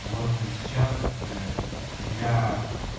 вот ээ сейчас ээ я